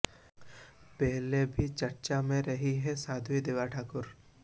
पहले भी चर्चा में रही हैं साध्वी देवा ठाकुर